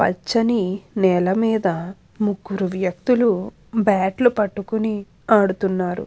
పచ్చని నేల మీద ముగ్గురు వ్యక్తులు బ్యాట్లు పట్టుకొని ఆడుతున్నారు.